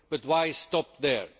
But why stop there?